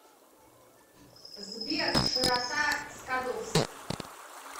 сбер широта скадовск